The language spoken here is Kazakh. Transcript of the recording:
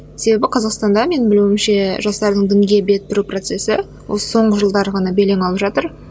себебі қазақстанда менің білуімше жастардың дінге бет бұру процесі осы соңғы жылдары ғана белең алып жатыр